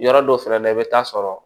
Yɔrɔ dɔw fɛnɛ na i bɛ taa sɔrɔ